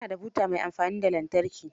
Ta na da buta mai amfani da lantarki.